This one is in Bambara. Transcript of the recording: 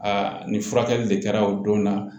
nin furakɛli de kɛra o don na